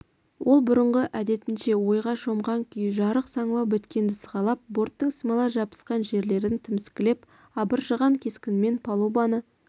ол бұрынғы әдетінше ойға шомған күйі жарық саңылау біткенді сығалап борттың смола жабысқан жерлерін тіміскілеп абыржыған кескінмен палубаны